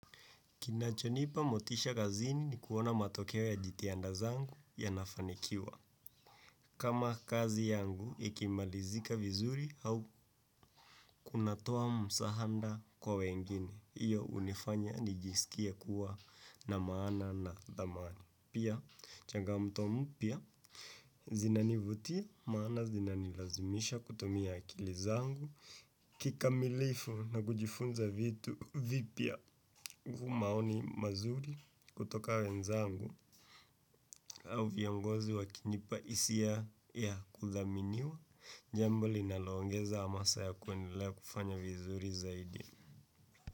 Kinachonipa motisha kazini ni kuona matokeo ya jitihada zangu yanafanikiwa. Kama kazi yangu, ikimalizika vizuri au kunatoa msaada kwa wengine. Hio hunifanya nijisikie kuwa na maana na thamani. Pia, changamoto mpya, zinanivutia, maana zinanilazimisha kutumi akili zangu. Kikamilifu na kujifunza vitu vipya kwa maoni mazuri kutoka wenzangu au viongozi wakinipa hisia ya kuthaminiwa. Njambo linalongeza hamasa ya kwendelea kufanya vizuri zaidi.